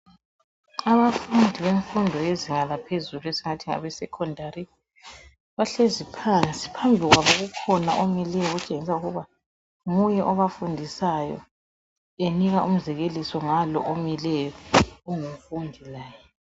Abafundi bemfundo yezinga laphezulu esingathi ngabe secondary bahlezi phansi phambi kwabo kukhona omileyo otshengisa ukuba nguye obafundisayo enika umzekeliso ngalo omileyo ongumfundi laye .